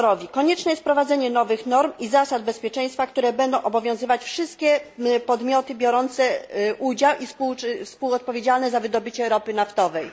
Konieczne jest wprowadzenie nowych norm i zasad bezpieczeństwa, które będą obowiązywać wszystkie podmioty biorące udział i współodpowiedzialne za wydobycie ropy naftowej.